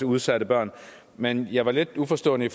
udsatte børn men jeg var lidt uforstående